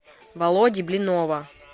володи блинова